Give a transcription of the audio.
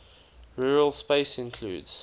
rural space includes